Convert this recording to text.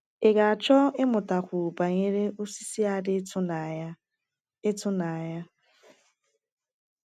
Ị ga-achọ ịmụtakwu banyere osisi a dị ịtụnanya? ịtụnanya?